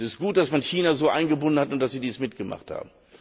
Es ist gut, dass man China so eingebunden hat und dass es dies mitgemacht hat.